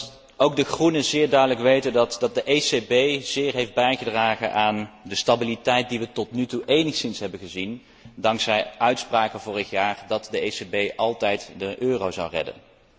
Ik denk dat ook de Groenen zeer goed weten dat de ECB zeer heeft bijgedragen aan de stabiliteit die wij tot nu toe enigszins hebben gezien dankzij uitspraken vorig jaar dat de ECB de euro altijd zou redden.